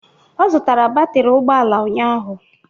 Ọ zụtara batịrị ụgbọala ụnyaahụ